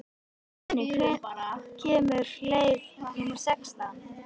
Guðni, hvenær kemur leið númer sextán?